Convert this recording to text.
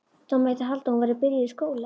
Það mætti halda að hún væri byrjuð í skóla.